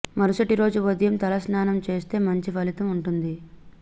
మరుసటి రోజు ఉదయం తల స్నానం చేస్తే మంచి ఫలితం ఉంటుంది